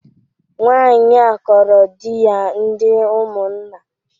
Nwanyị a kọọrọ di ya ndị Umunna